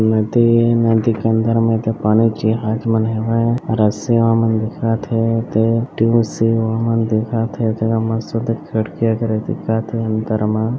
नदी ए नदी के अंदर में एदे पानी के जिहाज मन हेवय रस्सी वा मन दिखत हे एदे टिव सिव मन दिखत हे ए जघा मस्त ओदे खिड़की वगेरा दिखत हे अंदर म --